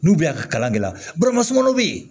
N'u bɛ a ka kalan kɛ la dɔ bɛ yen